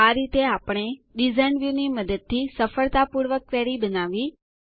તો આ રીતે આપણે ડીઝાઇન વ્યુંની મદદથી સફળતાપૂર્વક ક્વેરી બનાવી